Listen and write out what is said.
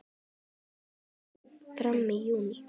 Gosið stóð fram í júní.